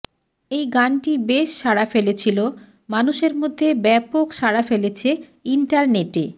এই গানটি বেশ সাড়া ফেলেছিল মানুষের মধ্যে ব্যাপক সাড়া ফেলেছে ইন্টারনেটে